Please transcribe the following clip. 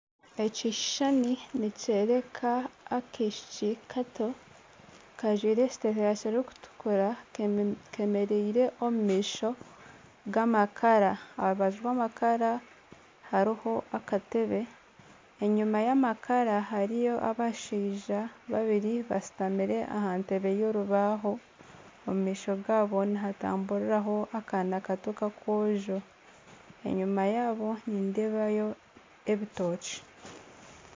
Ekishushani nikyoreka akaishiki kato kajwire ekiteteeyi kirikutukura keemereire omu maisho g'amakara aha rubaju rw'amakara hariho akatebe, enyima y'amakara hariyo abashaija babiri bashutami aha ntebe y'orubaho, omu maisho gaabo nihatamburiraho akana kato k'akoojo, enyima yaabo nindeebayo ebitookye